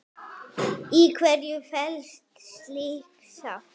Í hverju felst slík sátt?